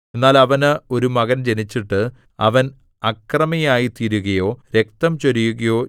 എന്നാൽ അവന് ഒരു മകൻ ജനിച്ചിട്ട് അവൻ അക്രമിയായിത്തീരുകയോ രക്തം ചൊരിയുകയോ